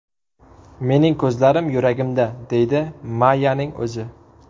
Mening ko‘zlarim yuragimda”, deydi Mayyaning o‘zi.